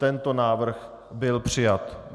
Tento návrh byl přijat.